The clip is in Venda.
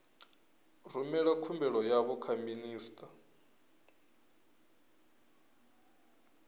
rumela khumbelo yavho kha minista